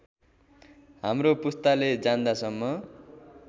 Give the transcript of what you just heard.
हाम्रो पुस्ताले जान्दासम्म